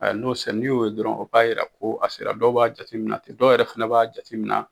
N'o n'i y'o ye dɔrɔn o b'a jira ko a sera dɔw b'a jateminɛ ten dɔw yɛrɛ fana b'a jateminɛ